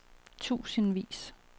tusindvis